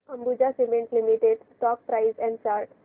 Ambuja cement limited stock price and chart